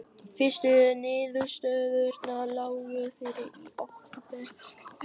Fyrstu niðurstöðurnar lágu fyrir í október og nóvember.